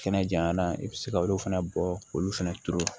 Kɛnɛ janyana i bɛ se ka olu fana bɔ k'olu fana turu